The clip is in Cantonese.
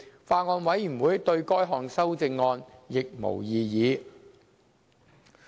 法案委員會對該項修正案亦無異議。